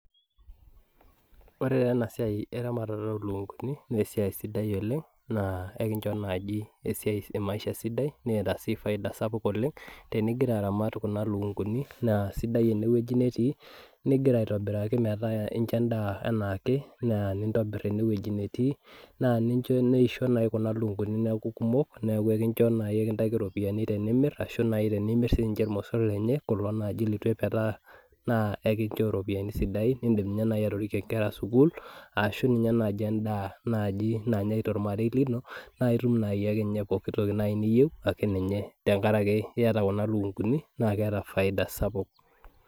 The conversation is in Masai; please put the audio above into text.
Ore taa ena siai eramatare oolukunkuni, naa esiai sidai oleng' naa ekinchoo naaji esiai e maisha sidai neeta sii faida sapuk oleng'. Tenigira aramat kuna lukunkuni, naa sidai ene wueji netii, nigira aitobiraki metaa incho endaa anaake naa nintobir ene wueji netii, naa nincho neisho kuna lukunkuni neaku kumok, neaku ekincho nikintaki irupiani tenimir, ashu naai tinimir sininche ilmosor lenye, kulo naaji leituepetaa naa ekinchoo irupiani sidain, nindim ninye naai atorikie inkera sukul, ashu ninye naaji endaa naaji nanyai tolmarei lino, naa itum naai akeninye pooki toki niyieu ake ninye te nkaraki iata kuna lukunkuni naake eeta faida sapuk.